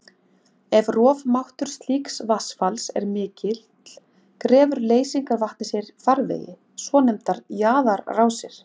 Ef rofmáttur slíks vatnsfalls er mikill grefur leysingarvatnið sér farvegi, svonefndar jaðarrásir.